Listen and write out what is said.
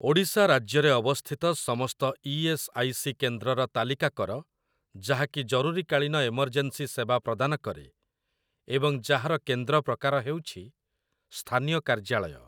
ଓଡ଼ିଶା ରାଜ୍ୟରେ ଅବସ୍ଥିତ ସମସ୍ତ ଇ.ଏସ୍. ଆଇ. ସି. କେନ୍ଦ୍ରର ତାଲିକା କର ଯାହାକି ଜରୁରୀକାଳୀନ ଏମର୍ଜେନ୍ସି ସେବା ପ୍ରଦାନ କରେ ଏବଂ ଯାହାର କେନ୍ଦ୍ର ପ୍ରକାର ହେଉଛି ସ୍ଥାନୀୟ କାର୍ଯ୍ୟାଳୟ ।